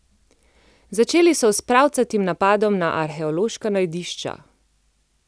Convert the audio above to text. Začeli so s pravcatim napadom na arheološka najdišča.